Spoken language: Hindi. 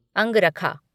अंगरखा